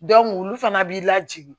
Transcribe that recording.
olu fana b'i lajigin